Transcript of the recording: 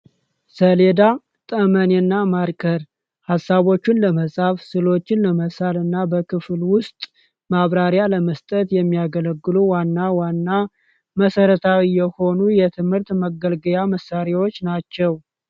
ሰሌዳ ጠመኔ እና ማርከር ሐሳቦቹን ለመጽፍ ስሎችን ለመሳል እና በክፍል ውስጥ ማብራሪያ ለመስጠት የሚያገለግሉ ዋና ዋና መሰረታዊ የሆኑ የትምህርት መገልገያ መሳሪዎች ናቸው።